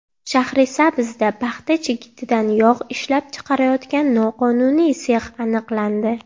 Shahrisabzda paxta chigitidan yog‘ ishlab chiqarayotgan noqonuniy sex aniqlandi.